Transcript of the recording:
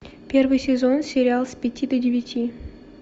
первый сезон сериал с пяти до девяти